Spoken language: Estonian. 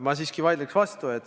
Ma siiski vaidlen vastu.